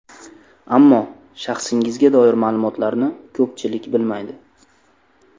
Ammo shaxsingizga doir ma’lumotlarni ko‘pchilik bilmaydi.